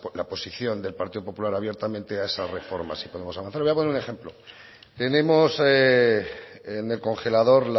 la posición del partido popular abiertamente a esas reformas le voy a poner un ejemplo tenemos en el congelador